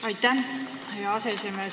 Aitäh, hea aseesimees!